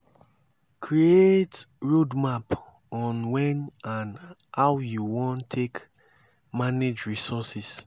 create roadmap on when and how you wan take manage resources